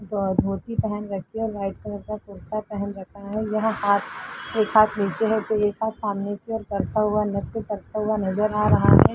धोती पहन रखी है और व्हाइट कलर का कुर्ता पहन रखा है। यहां हाथ एक हाथ नीचे है तो एक हाथ सामने की ओर करता हुआ नृत्य करता हुआ नजर आ रहा है।